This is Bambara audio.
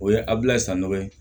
O ye abilayi san dɔ ye